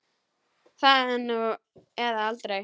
Það er nú eða aldrei.